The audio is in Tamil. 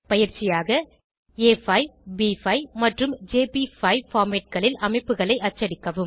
பயிற்சியாக ஆ5 ப்5 மற்றும் ஜேபி5 formatகளில் அமைப்புகளை அச்சடிக்கவும்